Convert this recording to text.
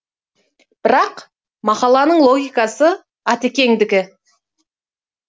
бірақ мақала логикасы атекеңдікі